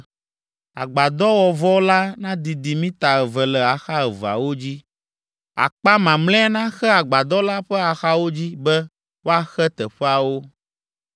Agbadɔwɔvɔ la nadidi mita eve le axa eveawo dzi, akpa mamlɛa naxe agbadɔ la ƒe axawo dzi be woaxe teƒeawo.